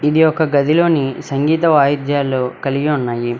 ఇది ఒక గదిలోని సంగీత వాయిద్యాలు కలిగి ఉన్నాయి.